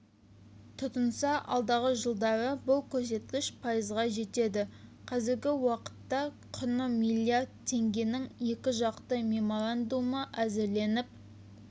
тұтынса алдағы жылдары бұл көрсеткіш пайызға жетеді қазіргі уақытта құны миллиард теңгенің екіжақты меморандумы әзірленіп